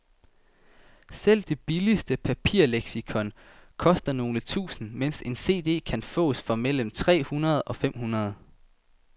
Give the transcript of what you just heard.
Selv det billigste papirleksikon koster nogle tusinde, mens en cd kan fås for mellem tre hundrede og fem hundrede.